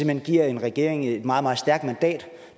hen giver en regering et meget meget stærkt mandat